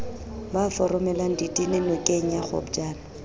ba foromelang ditene nokengya kgopjane